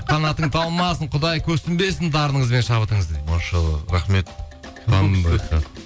қанатың талмасын құдай көпсінбесін дарыныңыз бен шабытыңызды дейді машаллах рахмет қандай хат